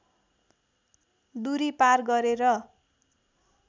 दूरी पार गरेर